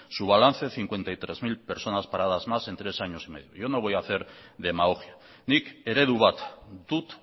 su balance cincuenta y tres mil personas paradas más en tres años y medio yo no voy a hacer demagogia nik eredu bat dut